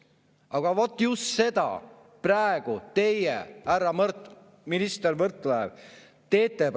" Aga vot just seda praegu teie, härra minister Mart Võrklaev, teete.